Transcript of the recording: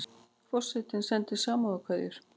Forsetinn sendir samúðarkveðjur